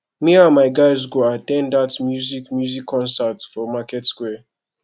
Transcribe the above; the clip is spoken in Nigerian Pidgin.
me and my guys go at ten d that music music concert for market square